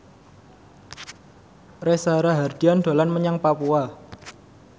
Reza Rahardian dolan menyang Papua